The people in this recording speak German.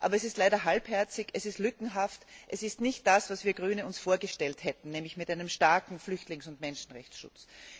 Aber es ist leider halbherzig, es ist lückenhaft, es ist nicht das, was wir Grüne uns vorgestellt hätten, nämlich mit einem starken Flüchtlings und Menschenrechtsschutz.